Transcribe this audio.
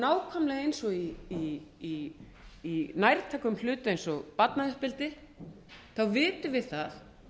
nákvæmlega eins og í nærtækum hlut eins og barnauppeldi vitum við það